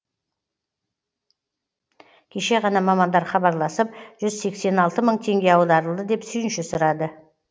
кеше ғана мамандар хабарласып жүз сексен алты мың теңге аударылды деп сүйінші сұрады